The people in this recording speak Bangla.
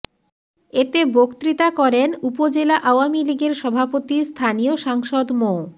এতে বক্তৃতা করেন উপজেলা আওয়ামী লীগের সভাপতি স্থানীয় সাংসদ মো